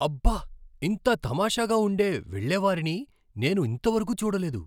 అబ్బ! ఇంత తమాషాగా ఉండే వాళ్ళెవారినీ నేను ఇంత వరకు చూడలేదు!